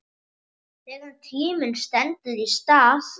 Þegar tíminn stendur í stað